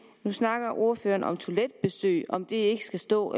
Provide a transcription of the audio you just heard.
snakker ordføreren om toiletbesøg om det ikke skal stå